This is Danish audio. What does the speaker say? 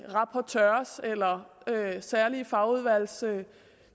rapportører eller særlige fagudvalgstovholdere